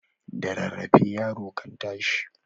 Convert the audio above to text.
Da rarrafe yaro kan tashi